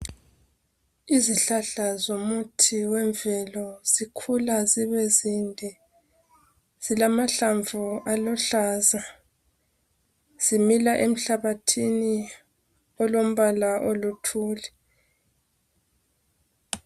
Izihlahla zomuthi wemvelo ,zikhula zibezinde .Zilamahlamvu aluhlaza ,zimila emhlabathini olombala oluthuli.